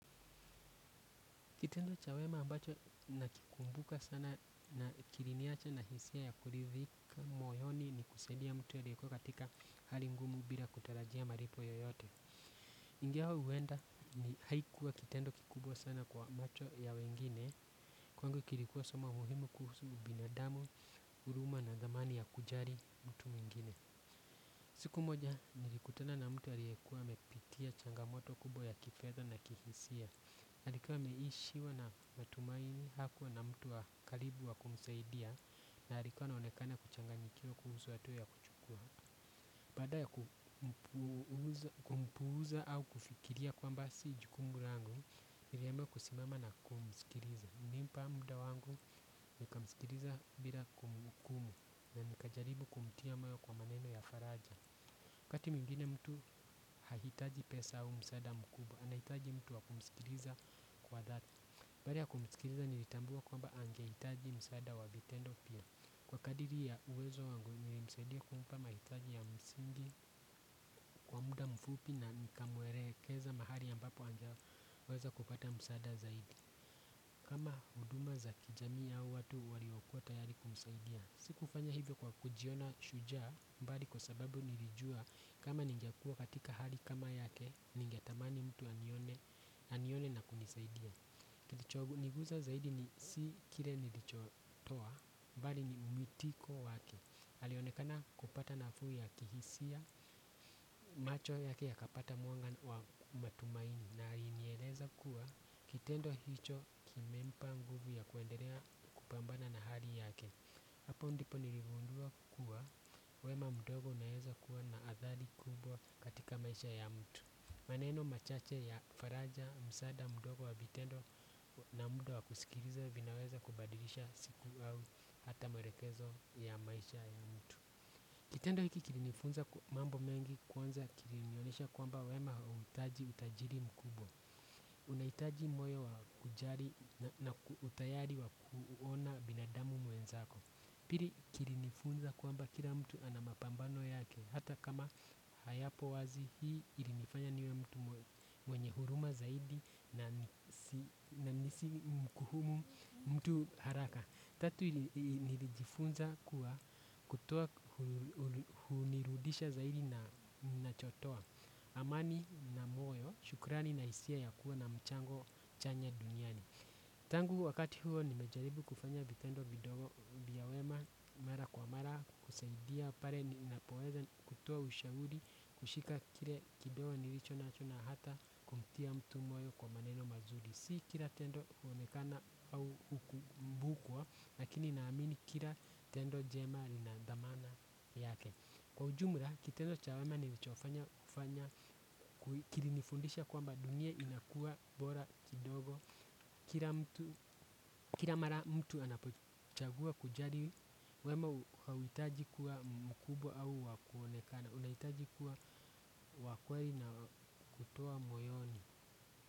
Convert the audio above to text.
Kitendo cha wema ambacho nakikumbuka sana na kiliniacha na hisia ya kurithika moyoni ni kusaidia mtu aliyekua katika hali ngumu bila kutarajia malipo yoyote. Ingawa huenda ni haikuwa kitendo kikubwa sana kwa macho ya wengine. Kwangu kilikuwa somo muhimu kuhusu binadamu, huruma na dhamani ya kujali mtu mwingine. Siku moja nilikutana na mtu aliyekua amepitia changamoto kubwa ya kifedha na kihisia. Alikuwa ameishiwa na matumaini hakuwa na mtu wa karibu wa kumsaidia. Na alikuwa anaonekana kuchanganyikiwa kuhusu hatua ya kuchukua. Baada ya kumpuza au kufikiria kwamba si jukumu langu niliamua kusimama na kumskiliza. Nilimpa muda wangu nikamskiliza bila kumhukumu. Na nikajaribu kumtia moyo kwa maneno ya faraja waKati mwingine mtu hahitaji pesa au msaada mkubwa. Anahitaji mtu wa kumisikiliza kwa dhati baada ya kumisikiliza nilitambua kwamba angehitaji msaada wa vitendo pia. Kwa kadiri ya uwezo wangu nilimsaidia kumpama mahitaji ya msingi kwa muda mfupi na nikamwelekeza mahali ambapo angeweza kupata msaada zaidi kama huduma za kijamii au watu waliokua tayari kumsaidia. Si kufanya hivyo kwa kujiona shujaa bali kwa sababu nilijua kama ningekuwa katika hali kama yake. Ningetamani mtu anione na kunisaidia. Niguza zaidi ni si kile nilicho toa bali ni mwitiko wake alionekana kupata nafuu ya kihisia. Macho yake yakapata mwanga wa matumaini. Na alinieleza kuwa kitendo hicho kimempa nguvu ya kuendelea kupambana na hali yake. Hapo ndipo niligundua kuwa wema mdogo unaeza kuwa na athari kubwa katika maisha ya mtu. Maneno machache ya faraja, msaada, mdogo wa vitendo na muda wa kusikiliza vinaweza kubadilisha siku au hata mwelekezo ya maisha ya mtu. Kitendo hiki kilinifunza mambo mengi kwanza kilinionyesha kwamba wema hauhitaji utajiri mkubwa. Unahitaji moyo wa kujali na utayari wa kuona binadamu mwenzako. Pili kilinifunza kwamba kila mtu ana mapambano yake. Hata kama hayapo wazi hii ilinifanya niwe mtu mwenye huruma zaidi na nisimkuhumu mtu haraka. Tatu nilijifunza kuwa kutoa hunirudisha zaidi ninachotoa. Amani na moyo shukrani na hisia ya kuwa na mchango chanya duniani. Tangu wakati huo nimejaribu kufanya vitendo vidogo vya wema mara kwa mara kusaidia pale ninapoweza kutoa ushauri kushika kile kidogo nilicho nacho na hata kumtia mtu moyo kwa maneno mazuri. Si kila tendo huonekana au hukumbukwa lakini naamini kila tendo jema linadhamana yake. Kwa ujumla, kitendo cha wema nilichofanya kufanya kilinifundisha kwamba dunia inakua bora kidogo. Kila mara mtu anapochagua kujali wema hauhitaji kuwa mkubwa au wa kuonekana. Unahitaji kuwa wa kweli na kutoa moyoni.